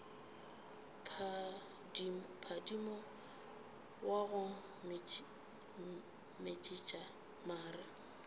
phadima wa go metšiša mare